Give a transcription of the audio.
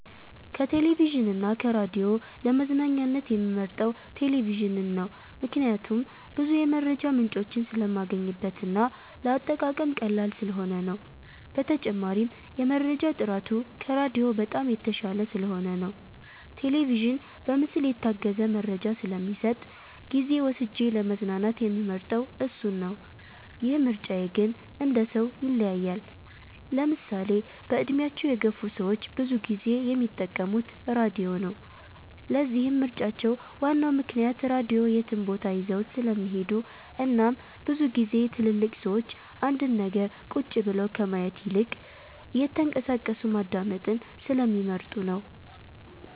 ከቴሌቪዥን እና ከራዲዮ ለመዝናኛነት የምመርጠው ቴሌቪዥንን ነው። ምክንያቴም ብዙ የመረጃ ምንጮችን ስለማገኝበት እና ለአጠቃቀም ቀላል ስለሆነ ነው። በተጨማሪም የመረጃ ጥራቱ ከራዲዮ በጣም የተሻለ ስለሆነ ነው። ቴሌቪዥን በምስል የታገዘ መረጃ ስለሚሰጥ ጊዜ ወስጄ ለመዝናናት የምመርጠው እሱን ነው። ይህ ምርጫ ግን እንደሰው ይለያያል። ለምሳሌ በእድሜያቸው የገፍ ሰዎች ብዙ ጊዜ የሚጠቀሙት ራድዮ ነው። ለዚህም ምርጫቸው ዋናው ምክንያት ራድዮ የትም ቦታ ይዘውት ስለሚሄዱ እናም ብዙ ግዜ ትልልቅ ሰዎች አንድን ነገር ቁጭ ብለው ከማየት ይልቅ እየተንቀሳቀሱ ማዳመጥን ስለሚመርጡ ነው።